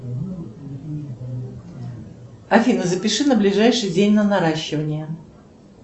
афина запиши на ближайший день на наращивание